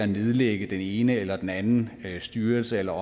nedlægge den ene eller den anden styrelse eller